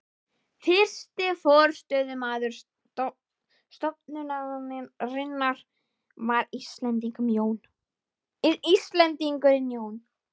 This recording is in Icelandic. Fyrsti forstöðumaður stofnunarinnar var Íslendingurinn Jón